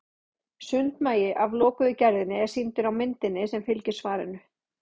sundmagi af lokuðu gerðinni er sýndur á myndinni sem fylgir svarinu